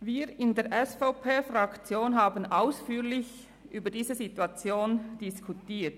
Wir von der SVP-Fraktion haben über diese Situation ausführlich diskutiert.